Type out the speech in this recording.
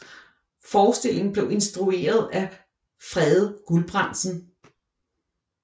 Forestillingen blev instrueret af Frede Gulbrandsen